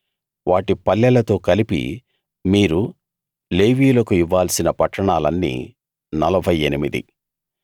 వాటి పల్లెలతో కలిపి మీరు లేవీయులకు ఇవ్వాల్సిన పట్టణాలన్నీ నలభై ఎనిమిది